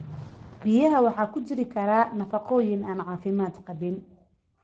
Biyaha waxaa ku jiri kara nafaqooyin aan caafimaad qabin.